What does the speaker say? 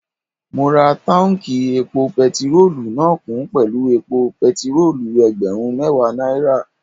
Mo rọ táùnkì epo pẹtirólù náà kún pẹ̀lú epo pẹtirólù ẹgbẹ̀rún mẹ́ẹ̀wá náírà